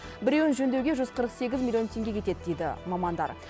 біреуін жөндеуге жүз қырық сегіз миллион теңге кетеді дейді мамандар